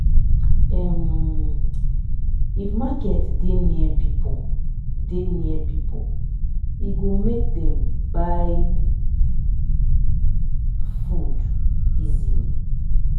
um if market dey near people dey near people e go make dem buy food easily